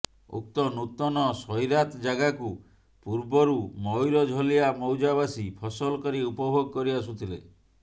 ଉକ୍ତ ନୂତନ ସଇରାତ ଯାଗାକୁ ପୁର୍ବରୁ ମୟୁରଝଲିଆ ମୌଜା ବାସୀ ଫସଲ କରି ଉପଭୋଗ କରି ଆସୁଥିଲେ